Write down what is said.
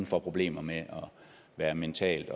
får problemer med at være mentalt